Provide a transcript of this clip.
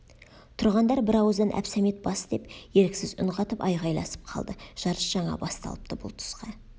тұрғандар бір ауыздан әбсәмет бас деп еріксіз үн қатып айғайласып қалды жарыс жаңа басталыпты бұл тұсқа